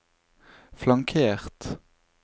flankert